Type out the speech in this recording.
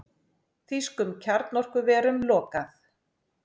Þýskum kjarnorkuverum lokað